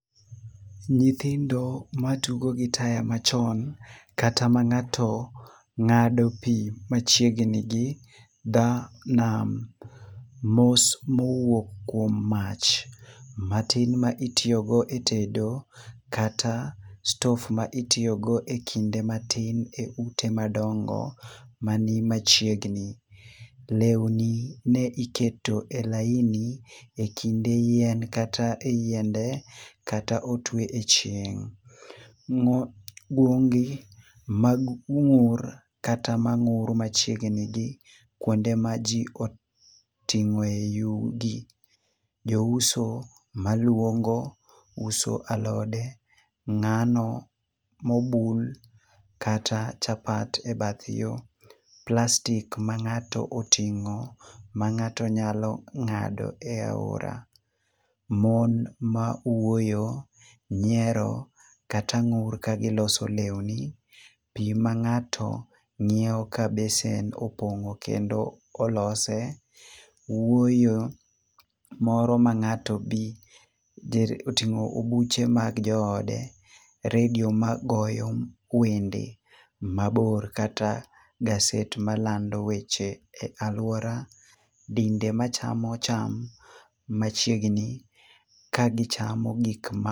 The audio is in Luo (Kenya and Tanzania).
Nyithindo ma tugo gi taya machon kata ma ng'ato ng'ado pi machiegni gi dha nam. Mos mowuok kuom mach matin ma itiyogo e tedo kata stof ma itiyogo e kinde matin e ute madongo mani machiegni. Lewni ne iketo e laini e kinde yien kata e yiende, kata otwe e chieng'. Ng'o gwongi mag ur kata mang'ur machiegni gi kuonde ma ji oting'e yugi. Jo uso maluongo uso alode, ng'ano mobul kata chapat e bath yo. Plastic ma ng'ato oting'o ma ng'ato nyalo ng'ado e aora. Mon ma wuoyo, nyiero, kata ng'ur ka giloso lewni. Pi ma ng'ato ng'iewo ka besen opong'o kendo olose, wuoyo moro ma ng'ato be oting'o obuche mar joode. Redio ma goyo wende mabor, kata gaset malando weche e alwora, dinde ma chamo cham machiegni ka gichamo gik ma.